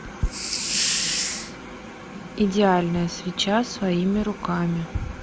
идеальная свеча своими руками